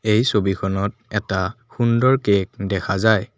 এই ছবিখনত এটা সুন্দৰ কেক দেখা যায়।